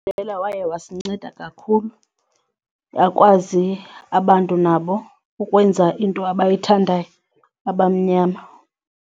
waye wasinceda kakhulu bakwazi abantu nabo ukwenza into abayithandayo abamnyama.